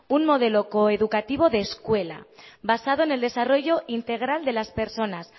un modelo coeducativo de escuela basado en el desarrollo integral de las personas